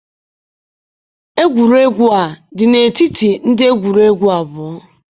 egwuregwu a dị n'etiti ndị egwuregwu abụọ.